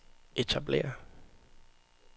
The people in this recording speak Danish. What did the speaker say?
etablere